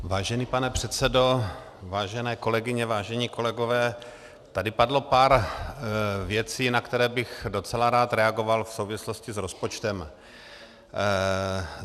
Vážený pane předsedo, vážené kolegyně, vážení kolegové, tady padlo pár věcí, na které bych docela rád reagoval v souvislosti s rozpočtem.